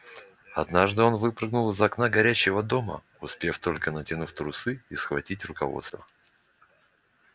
однажды он выпрыгнул из окна горящего дома успев только натянуть трусы и схватить руководство